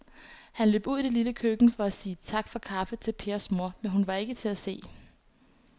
Han løb ud i det lille køkken for at sige tak for kaffe til Pers kone, men hun var ikke til at se.